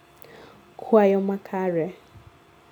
kuayo makare